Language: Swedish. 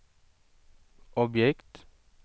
objekt